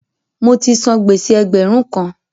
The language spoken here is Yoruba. Mo ti san gbèsè ẹgbẹ̀rún kan.